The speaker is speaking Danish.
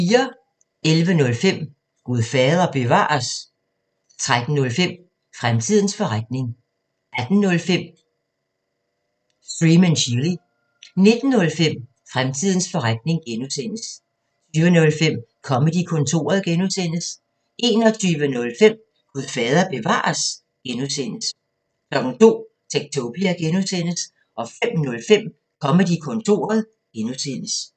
11:05: Gud fader bevares? 13:05: Fremtidens forretning 18:05: Stream & Chill 19:05: Fremtidens forretning (G) 20:05: Comedy-kontoret (G) 21:05: Gud fader bevares? (G) 02:00: Techtopia (G) 05:05: Comedy-kontoret (G)